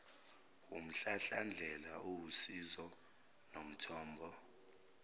wumhlahlandlela owusizo nomthombo